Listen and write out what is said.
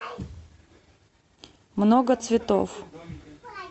много цветов